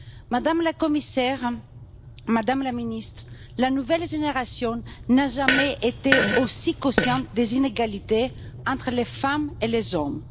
Madame la Commissaire, Madame la Ministre, la nouvelle génération n'a jamais été aussi consciente des inégalités entre les femmes et les hommes.